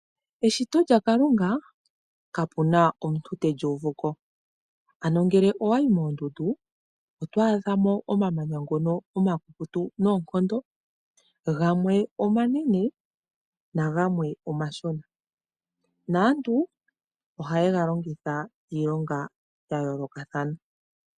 Eshito lyaKalunga kapuna omuntu te li uvu ko. Ano ngele owayi moondundu oto adha mo omamanya ngono omakukutu noonkondo gamwe omanene nagamwe omashona, naantu ohaye ga longitha iilonga ya yoolokathana.